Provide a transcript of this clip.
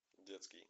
детский